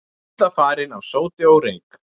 Illa farin af sóti og reyk